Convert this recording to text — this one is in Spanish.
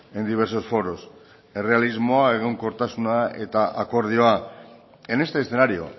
en diversos foros errealismoa egonkortasuna eta akordioa en este escenario